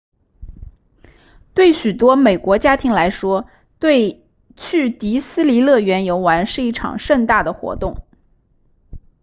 对许多美国家庭来说去迪斯尼乐园游玩是一场盛大的活动